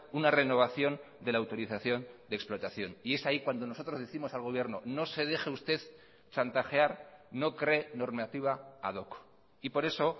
una renovación de la autorización de explotación y es ahí cuando nosotros décimos al gobierno no se deje usted chantajear no cree normativa ad hoc y por eso